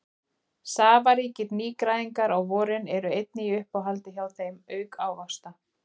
Safaríkir nýgræðingar á vorin eru einnig í uppáhaldi hjá þeim auk ávaxta.